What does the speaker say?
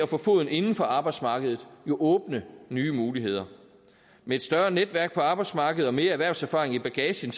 få foden inden for arbejdsmarkedet jo åbne nye muligheder med et større netværk på arbejdsmarkedet og mere erhvervserfaring i bagagen